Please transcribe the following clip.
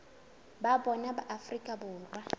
ba bona ba afrika borwa